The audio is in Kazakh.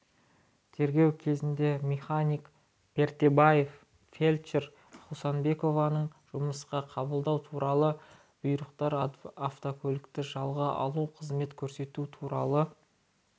тергеу кезінде механик пердебаев фельдшер хусанбекованы жұмысқа қабылдау туралы бұйрықтар автокөлікті жалға алу қызмет көрсету туралы